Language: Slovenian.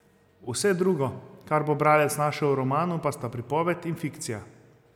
Vse drugo, kar bo bralec našel v romanu, pa sta pripoved in fikcija.